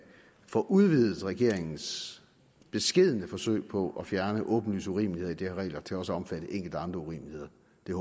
få udvidet regeringens beskedne forsøg på at fjerne åbenlyse urimeligheder i de her regler til også at omfatte enkelte andre urimeligheder